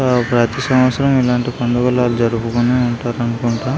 ప్రతి సంవత్సరం ఇలాంటి పండుగులు వాళ్ళు జరుపుకుంటు ఉంటారు అనుకుంటా.